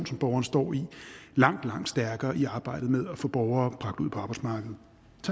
som borgerne står i langt langt stærkere i arbejdet med at få borgere bragt ud på arbejdsmarkedet